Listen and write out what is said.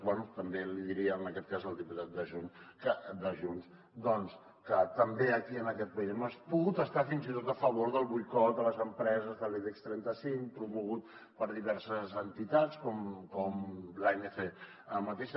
però bé també li diria en aquest cas al diputat de junts doncs que també aquí en aquest país hem pogut estar fins i tot a favor del boicot a les empreses de l’ibex trenta cinc promogut per diverses entitats com l’anc mateixa